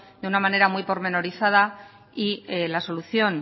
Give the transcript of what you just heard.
de una manera muy pormenorizada y la solución